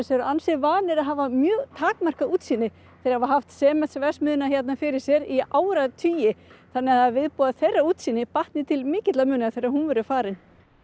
eru ansi vanir að hafa mjög takmarkað útsýni þeir hafa haft Sementsverksmiðjuna hérna fyrir sér í áratugi þannig að það er viðbúið að þeirra útsýni batni til mikilla muna þegar hún verður farin